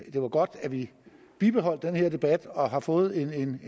var godt at vi bibeholdt den her debat og har fået en